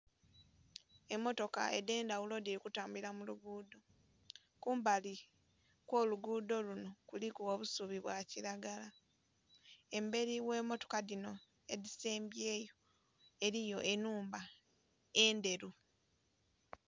Emmotoka edh'endhaghulo dhili kutambulila mu lugudho. Kumbali kw'olugudho luno kuliku obusubi bwa kilagala. Embeli gh'emmotoka dhino edhisembyeyo eliyo enhumba endheru.